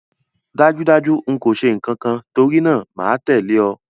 Dájúdájú n kò se nkankan torínáà máa tẹ̀lẹ́ o